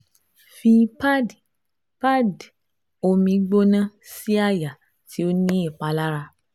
Fi pad pad omi gbona si aaye ti o ni ipalara